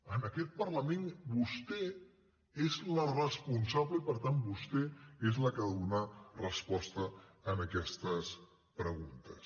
en aquest parlament vostè és la responsable i per tant vostè és la que ha de donar resposta a aquestes preguntes